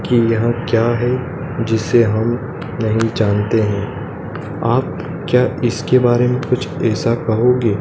कि यह क्या है जिसे हम नहीं जानते हैं आप क्या इसके बारे में कुछ ऐसा कहोगे?